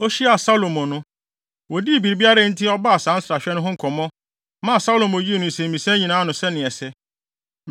Ohyiaa Salomo no, wodii biribiara a enti ɔbaa saa nsrahwɛ no ho nkɔmmɔ, maa Salomo yii ne nsɛmmisa nyinaa ano sɛnea ɛsɛ.